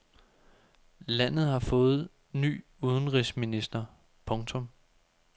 Landet har fået ny udenrigsminister. punktum